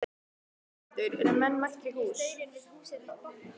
Höskuldur, eru menn mættir í hús?